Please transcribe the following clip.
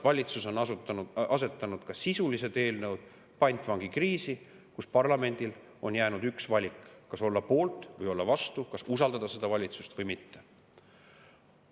Valitsus on asetanud ka sisulised eelnõud pantvangikriisi, kus parlamendil on jäänud üks valik: kas olla poolt või olla vastu, kas usaldada seda valitsust või mitte.